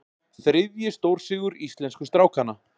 Þriðji stórsigur íslensku strákanna